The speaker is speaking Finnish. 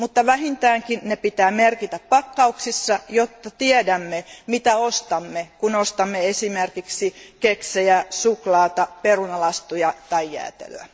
Mutta vähintäänkin ne pitää merkitä pakkauksissa, jotta tiedämme, mitä ostamme, kun ostamme esimerkiksi keksejä, suklaata, perunalastuja tai jäätelöä.